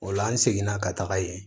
O la an seginna ka taga yen